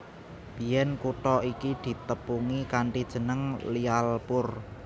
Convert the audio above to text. Biyèn kutha iki ditepungi kanthi jeneng Lyallpur